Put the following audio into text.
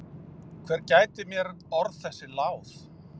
Hver gæti mér orð þessi láð?